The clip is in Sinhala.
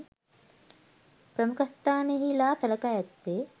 ප්‍රමුඛස්ථානයෙහිලා සලකා ඇත්තේ